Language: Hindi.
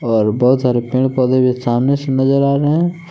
और बहुत सारे पेड़ पौधे भी सामने से नजर आ रहे हैं।